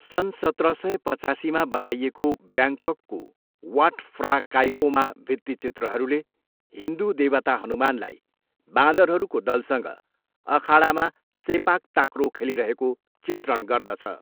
सन् सत्र सय पचासीमा बनाइएको ब्याङ्ककको वाट फ्रा काइओमा भित्तिचित्रहरूले हिन्दू देवता हनुमानलाई बाँदरहरूको दलसँग अखाडामा सेपाक ताक्रो खेलिरहेको चित्रण गर्दछ।